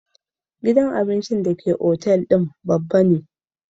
Gidan abincin hotel babba ne